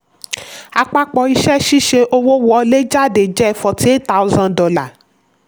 àpapọ̀ iṣẹ́-ṣíṣe: owó wọlé/jáde jẹ́ forty eight thousand dollars